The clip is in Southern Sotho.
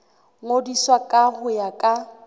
ngodiswa ka ho ya ka